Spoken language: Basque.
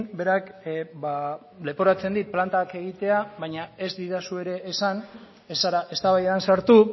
berak leporatzen dit plantak egitea baina ez didazu ere esan ez zara eztabaidan sartu